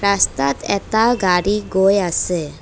ৰাস্তাত এটা গাড়ী গৈ আছে।